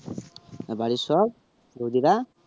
আর বাড়ির সব বুজিরা